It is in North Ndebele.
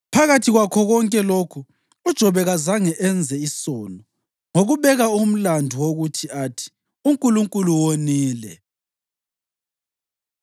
Phakathi kwakho konke lokhu uJobe kazange enze isono ngokubeka umlandu wokuthi athi uNkulunkulu wonile.